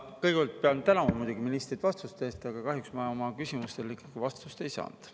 Kõigepealt pean tänama muidugi ministrit vastuste eest, aga kahjuks ma oma küsimustele vastust ei saanud.